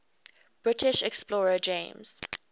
british explorer james